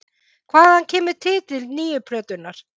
Hvaðan kemur titill nýju plötunnar?